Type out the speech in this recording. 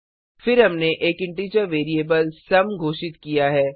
फिर हमने एक इन्टिजर वेरिएबल सुम घोषित किया है